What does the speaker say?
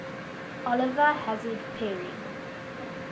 oliver hazard perry